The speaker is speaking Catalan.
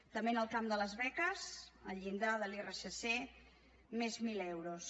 també en el camp de les beques el llindar de l’irsc més mil euros